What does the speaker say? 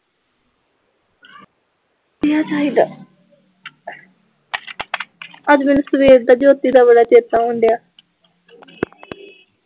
ਵਧੀਆ ਚਾਹੀਦਾ ਅੱਜ ਕੱਲ੍ਹ ਸਵੇਰ ਦਾ ਜੋਤੀ ਦਾ ਬੜਾ ਚੇਤਾ ਆਉਣ ਡਿਆ